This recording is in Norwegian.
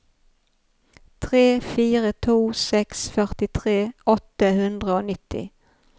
tre fire to seks førtitre åtte hundre og nitti